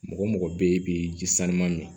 Mɔgɔ mɔgɔ bɛ ye k'i ji sama